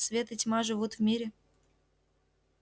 свет и тьма живут в мире